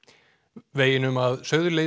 veginum að